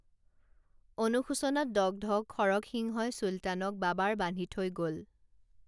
অনুশোচনাত দগ্ধ খৰগসিংহই চুলতানক বাবাৰ বান্ধি থৈ গল